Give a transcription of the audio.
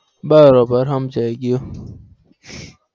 બરાબર સમજાય ગયું.